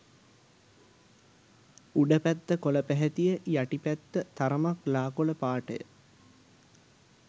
උඩ පැත්ත කොළ පැහැතිය යටි පැත්ත තරමක් ලා කොළ පාටය.